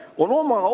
Siin on sul õigus.